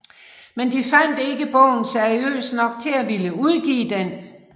Men de fandt ikke bogen seriøs nok til at ville udgive den